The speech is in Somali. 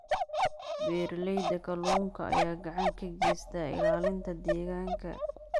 Beeralayda kalluunka ayaa gacan ka geysta ilaalinta deegaanka.